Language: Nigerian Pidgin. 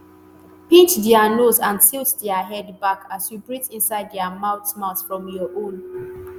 pinch dia nose and tilt dia head back as you breath inside dia mouth mouth from your own.